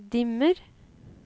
dimmer